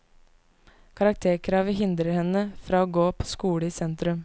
Karakterkravet hindrer henne fra å gå på skole i sentrum.